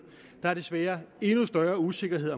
der er desværre endnu større usikkerhed